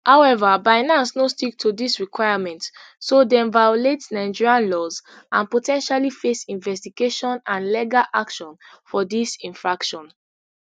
however binance no stick to dis requirements so dem violate nigerian laws and po ten tially face investigation and legal action for dis infraction